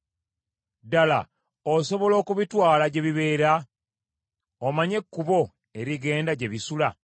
Ddala, osobola okubitwala gye bibeera? Omanyi ekkubo erigenda gye bisula?